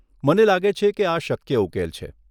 મને લાગે છે કે આ શક્ય ઉકેલ છે.